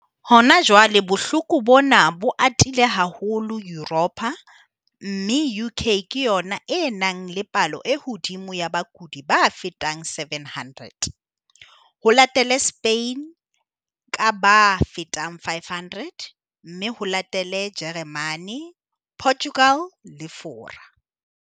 Hona jwale bohloko bona bo atile haholo Yuropa mme UK ke yona e nang le palo e hodimo ya bakudi ba fetang 700, ho latele Spain ka ba fetang 500 mme ho latele Jeremane, Portugal le Fora.